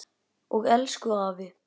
Og elsku afi.